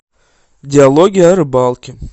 диалоги о рыбалке